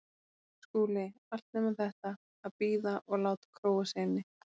SKÚLI: Allt nema þetta: að bíða og láta króa sig inni.